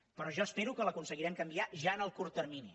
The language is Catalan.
però jo espero que l’aconseguirem canviar ja en el curt termini